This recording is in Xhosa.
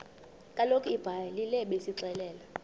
kaloku ibhayibhile isixelela